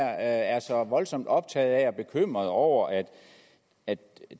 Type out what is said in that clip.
er så voldsomt optaget af og så bekymret over at at